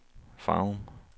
Farum